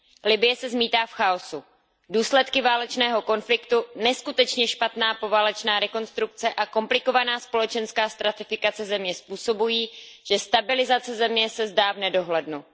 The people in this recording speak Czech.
Libye se zmítá v chaosu, důsledky válečného konfliktu, neskutečně špatná poválečná rekonstrukce a komplikovaná společenská stratifikace země způsobují, že stabilizace země se zdá v nedohlednu.